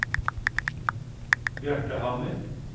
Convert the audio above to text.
Bjarte Hammer